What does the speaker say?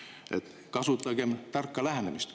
Nii et kasutagem tarka lähenemist.